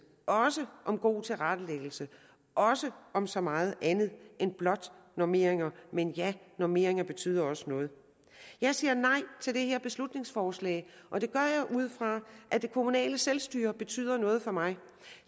også om god tilrettelæggelse også om så meget andet end blot normeringer men ja normeringer betyder også noget jeg siger nej til det her beslutningsforslag og det gør jeg ud fra at det kommunale selvstyre betyder noget for mig